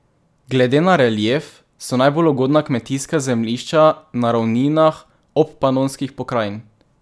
Glede na relief so najbolj ugodna kmetijska zemljišča na ravninah Obpanonskih pokrajin.